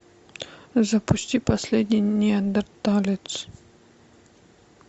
запусти последний неандерталец